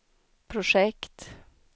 projekt